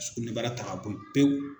Sukunɛbara ta ka bɔyi pewu.